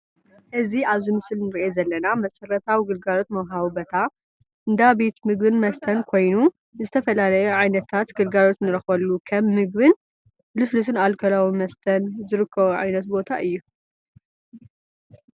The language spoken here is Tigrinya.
እዚ ኣብ ምስሊ ንሪኦ ዘለና መሰረታዊ ግልጋሎት መውሃቢ ቦታ እንዳ ቤት ምግብን መስተን ኮይኑ ዝተፈላለዩ ዓይነታት ግልጋሎት ንረኽበሉ ከም ምግብን ልስሉስን ኣልኮላዊ መስተን ዝርከቦ ዓይነት ቦታ እዩ፡፡